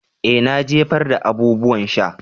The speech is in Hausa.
Eh na jefar da abubuwan sha.